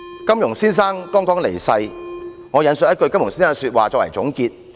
金庸先生剛離世，我引述他的一句說話作為總結。